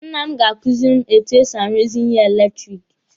Nna m ga-kuziri m etu e si aruzi ihe eletiriki.